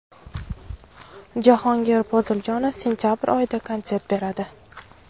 Jahongir Poziljonov sentabr oyida konsert beradi.